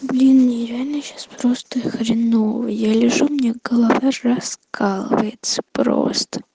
блин мне реально сейчас просто хреново я лежу у меня голова раскалывается просто